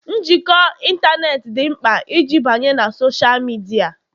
njikọ ịntanetị dị mkpa iji banye na Sọsha midia